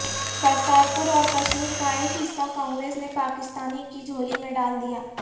کرتار پور اور کشمیر کا ایک حصہ کانگریس نے پاکستانی کی جھولی میں ڈالدیا